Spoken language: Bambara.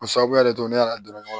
O sababuya de don ne ka dɔrɔn